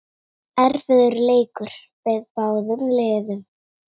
Erfiður leikur beið báðum liðum.